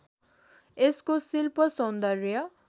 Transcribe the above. यसको शिल्‍प सौन्दर्य